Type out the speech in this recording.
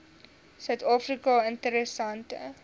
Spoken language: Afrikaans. suid afrika interessante